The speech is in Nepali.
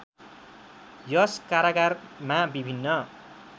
यस कारागारमा विभिन्न